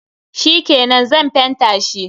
Shikenan, Zan fenta shi.